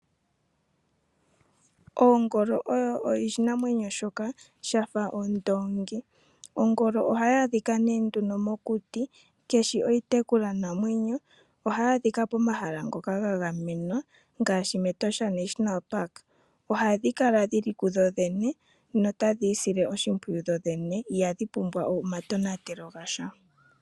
Oongolo odho iinamwenyo mbyoka yafa ondoongi. Ongolo ohayi adhika nduno mokuti kadhishi iitekulwanamwenyo. Ohadhi adhika momahala ngoka ga gamenwa ngaashi mEtosha National Park. Ohadhi kala dhi li kudho dhene notadhi isile oshimpwiyu dho dhene ihadhi pumbwa omatonatelo ga sha.